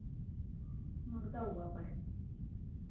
मग जाऊ आपण